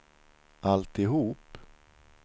alltihop